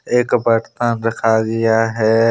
एक बरतन रखा गया है।